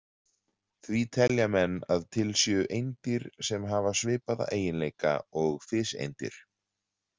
Því telja menn að til séu eindir sem hafa svipaða eiginleika og fiseindir.